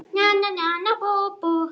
Nana nana bú bú!